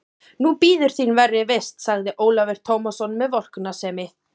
Nú bíður þín verri vist, sagði Ólafur Tómasson með vorkunnsemi.